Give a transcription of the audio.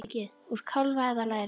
Úr kálfa eða læri!